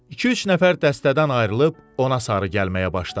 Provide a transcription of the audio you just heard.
İki-üç nəfər dəstədən ayrılıb ona sarı gəlməyə başladı.